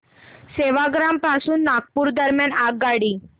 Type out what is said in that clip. सेवाग्राम पासून नागपूर दरम्यान आगगाडी